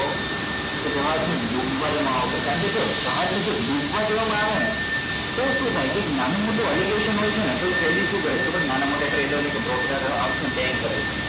કે જહાજ ને ડૂબવા દેવા માં આવશે કારણ કે જો જહાજ ને જો ડૂબવા દેવા માં આવે ને તો શુ થાય કે નાનું મોટુ હોય છે ને તો એ કરે કે નાના મોટા trader ને કે broker house ને bane કરે છે